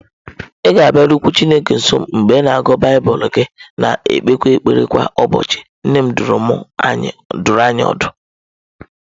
Ị ga-abịarukwu Chineke nso mgbe ị na-agụ Baịbụl gị na-ekpekwa ekpere kwa ụbọchị, nne m dụrụ anyị ọdụ